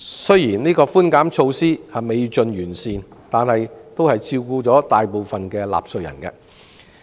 雖然寬免措施未盡完善，但也照顧了大部分納稅人。